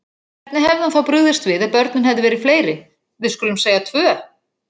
Hvernig hefði hann þá brugðist við ef börnin hefðu verið fleiri. við skulum segja tvö?